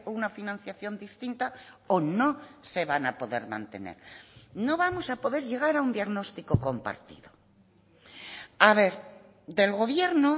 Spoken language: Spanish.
una financiación distinta o no se van a poder mantener no vamos a poder llegar a un diagnóstico compartido a ver del gobierno